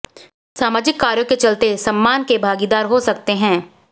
सामाजिक कार्यों के चलते सम्मान के भागीदार हो सकते हैं